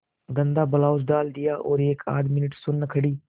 गंदा ब्लाउज डाल दिया और एकआध मिनट सुन्न खड़ी